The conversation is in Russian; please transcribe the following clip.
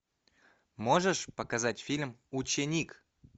можешь показать фильм ученик